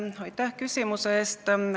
Aitäh küsimuse eest!